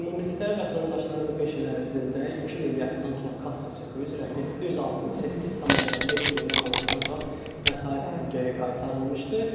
Ümumilikdə vətəndaşlara bu beş il ərzində 2 milyarddan çox kassa çeki üzrə 768,5 milyon manatdan çox vəsait geri qaytarılmışdı.